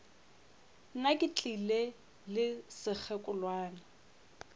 nna ke tlile le sekgekolwana